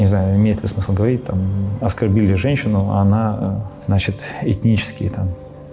не знаю имеет ли смысл говорить там оскорбили женщину она значит этнически там